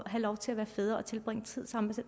have lov til at være fædre og tilbringe tid sammen